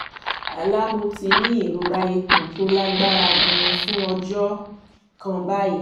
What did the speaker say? àlá mo ti ń ní ìrora ikun tó lágbára gan-an fún ọjọ́ kan báyìí